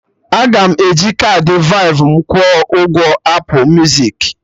Aga m eji kaadị Verve m kwụọ ụgwọ Apụ muzik